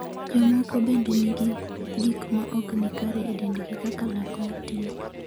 Jomoko bende nigi gik ma ok ni kare e dendgi kaka lak matin.